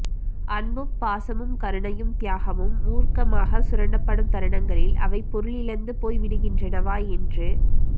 அன்பும் பாசமும் கருணையும் தியாகமும் மூர்க்கமாக சுரண்டப்படும் தருணங்களில் அவை பொருளிழந்துபோய்விடுகின்றனவா என்று